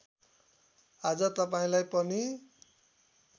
आज तपाईँलाई पनि